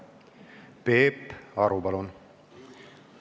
Peep Aru, palun!